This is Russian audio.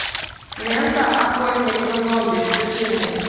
лента охотник на зомби включи мне